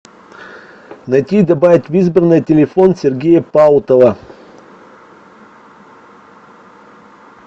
найти и добавить в избранное телефон сергея паутова